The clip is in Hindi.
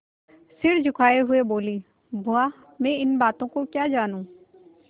सिर झुकाये हुए बोलीबुआ मैं इन बातों को क्या जानूँ